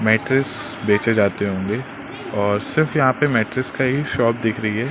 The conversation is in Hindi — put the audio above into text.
मैट्ट्रेस बेचे जाते होंगे और सिर्फ यहां पर मैट्रेस का ही शॉप दिख रही है।